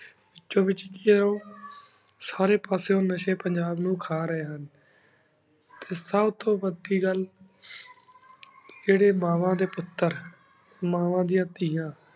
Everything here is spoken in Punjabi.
ਵਿਛੁੰ ਵੇਚ ਕਉਣ ਸਾਰੀ ਪਾਸੁਂ ਨਾਸ਼ੀ ਪੰਜਾਬ ਨੂ ਖਾ ਰਹੀ ਹੁਣ ਏਸ੍ਟਾਨ ਉਤੁਨ ਵਾਦੀ ਘਾਲ ਜੇਰੀ ਮਾਵਨ ਡੀ ਪੁਟਰ ਮੰਵ੍ਨ ਦਯਾਨ ਤੇਯਾਂ